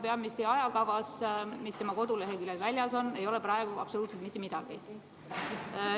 Peaministri ajakavas, mis tema koduleheküljel väljas on, ei ole praegu absoluutselt mitte midagi.